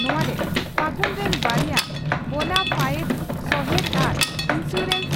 ᱱᱚᱣᱟ ᱨᱮ ᱯᱷᱟᱹᱜᱩᱱ ᱨᱤᱱ ᱵᱟᱨᱭᱟ ᱵᱚᱱᱟᱯᱷᱟᱭᱮᱵ ᱥᱚᱦᱮᱛ ᱟᱨ ᱤᱱᱥᱩᱨᱟᱱᱥ